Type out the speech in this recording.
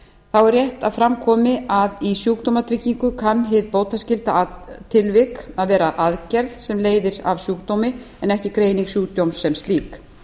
að fram komi að í sjúkdómatryggingu kann hið bótaskylda tilvik að vera aðgerð sem leiðir af sjúkdómi en ekki greining sjúkdóms sem slík